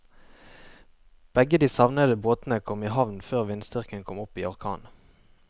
Begge de savnede båtene kom i havn før vindstyrken kom opp i orkan.